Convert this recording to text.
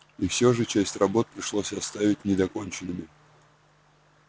и всё же часть работ пришлось оставить недоконченными